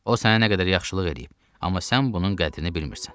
O sənə nə qədər yaxşılıq eləyib, amma sən bunun qədrini bilmirsən.